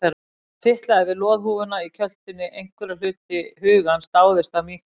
Hann fitlaði við loðhúfuna í kjöltunni, einhver hluti hugans dáðist að mýktinni.